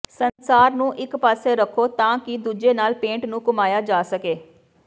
ਸੰਸਾਰ ਨੂੰ ਇਕ ਪਾਸੇ ਰੱਖੋ ਤਾਂ ਕਿ ਦੂਜੇ ਨਾਲ ਪੇਂਟ ਨੂੰ ਘੁਮਾਇਆ ਜਾ ਸਕੇ